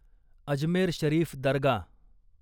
Ajmer Sharif Dargah